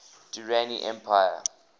durrani empire